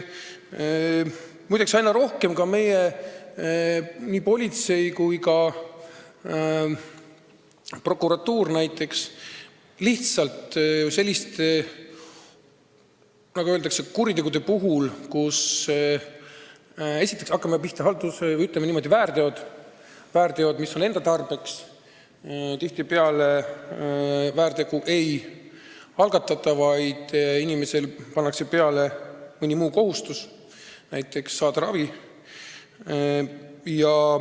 Muide, aina rohkem nii politsei kui ka prokuratuur selliste väärtegude puhul, kui narkootikumid on inimesel enda tarbeks, väärteomenetlust ei algata, vaid inimesele pannakse mõni muu kohustus, näiteks saada ravi.